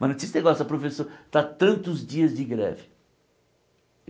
Mas não tinha esse negócio da professora estar tantos dias de greve.